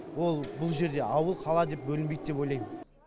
ол бұл жерде ауыл қала деп бөлінбейді деп ойлаймын